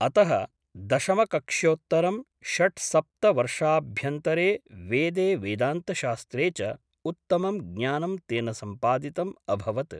अतः दशमकक्ष्योत्तरं षट्सप्तवर्षाभ्यन्तरे वेदे वेदान्तशास्त्रे च उत्तमं ज्ञानं तेन सम्पादितम् अभवत् ।